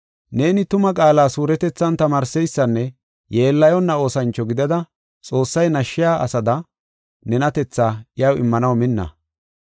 Neeni tuma qaala suuretethan tamaarseysanne yeellayonna oosancho gidada, Xoossay nashshiya asada, nenatethaa iyaw immanaw minna.